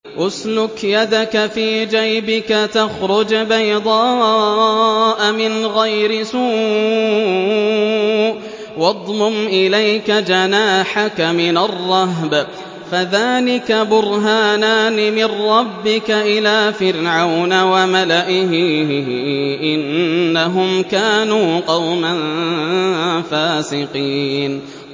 اسْلُكْ يَدَكَ فِي جَيْبِكَ تَخْرُجْ بَيْضَاءَ مِنْ غَيْرِ سُوءٍ وَاضْمُمْ إِلَيْكَ جَنَاحَكَ مِنَ الرَّهْبِ ۖ فَذَانِكَ بُرْهَانَانِ مِن رَّبِّكَ إِلَىٰ فِرْعَوْنَ وَمَلَئِهِ ۚ إِنَّهُمْ كَانُوا قَوْمًا فَاسِقِينَ